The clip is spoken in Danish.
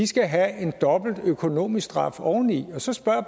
skal have en dobbelt økonomisk straf oveni og så spørger